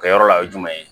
Kɛyɔrɔ la o ye jumɛn ye